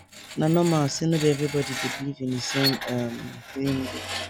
na normal say no be everybody dey believe in di same um healing way